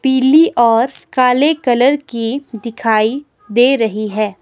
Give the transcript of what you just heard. पीली और काले कलर की दिखाई दे रही है।